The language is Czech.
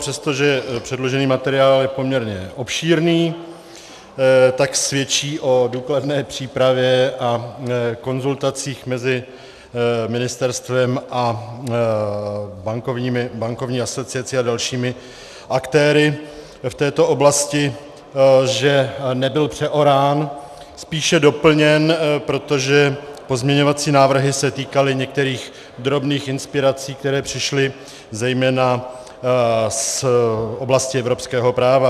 Přestože předložený materiál je poměrně obšírný, tak svědčí o důkladné přípravě a konzultacích mezi ministerstvem a bankovní asociací a dalšími aktéry v této oblasti, že nebyl přeorán, spíše doplněn, protože pozměňovací návrhy se týkaly některých drobných inspirací, které přišly zejména z oblasti evropského práva.